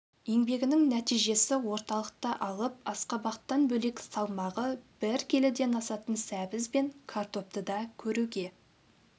еңбегінің нәтижесі орталықта алып асқабақтан бөлек салмағы бір келіден асатын сәбіз бен картопты да көруге